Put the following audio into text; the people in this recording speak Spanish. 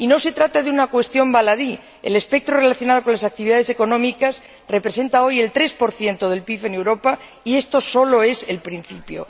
Y no se trata de una cuestión baladí el espectro relacionado con las actividades económicas representa hoy el 3 del PIB en Europa y esto solo es el principio.